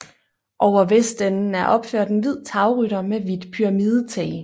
Over vestenden er opført en hvid tagrytter med hvidt pyramidetag